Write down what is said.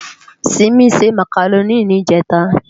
Simi sè Mákáróni nijètá